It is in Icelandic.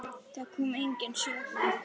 Það komu engin svör.